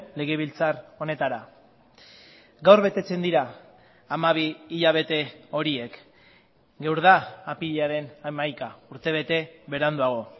legebiltzar honetara gaur betetzen dira hamabi hilabete horiek gaur da apirilaren hamaika urtebete beranduago